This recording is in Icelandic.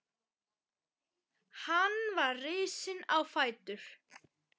Hann var risinn á fætur.